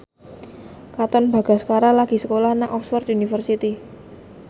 Katon Bagaskara lagi sekolah nang Oxford university